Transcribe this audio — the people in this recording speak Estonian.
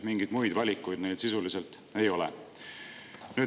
Mingeid muid valikuid neil sisuliselt ei ole.